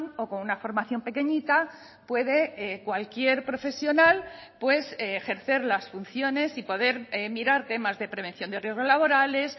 o con una formación pequeñita puede cualquier profesional pues ejercer las funciones y poder mirar temas de prevención de riesgos laborales